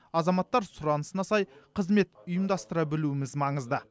азаматтар сұранысына сай қызмет ұйымдастыра білуіміз маңызды